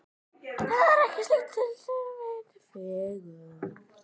Það er ekkert slíkt til sem heitir fegurð.